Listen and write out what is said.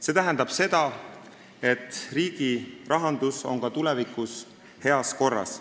See tähendab seda, et riigirahandus on ka tulevikus heas korras.